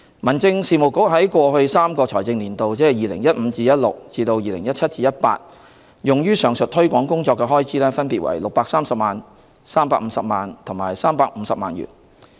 民政事務局在 2015-2016 至 2017-2018 的3個財政年度，用於上述推廣工作的開支分別為630萬元、350萬元和350萬元。